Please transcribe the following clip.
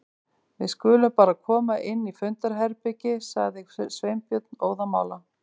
Við skulum bara koma inn í fundarherbergi- sagði Sveinbjörn óðamála.